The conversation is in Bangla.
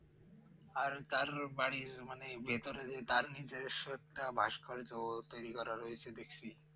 আর তার বাড়ির মানে, ভিতরে যে তার নিজস্ব ভাস্কর্য তৈরি করা রয়েছে দেখছি